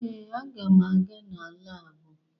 Ee, aga m aga na laabụ